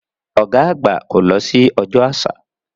Ọ̀gá àgbà kò lọ sí Ọjọ́ Àṣà.